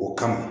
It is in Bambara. O kama